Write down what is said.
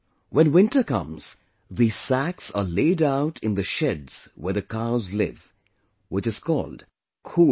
When winter comes, these sacks are laid out in the sheds where the cows live, which is called khud here